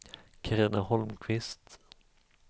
Carina Holmqvist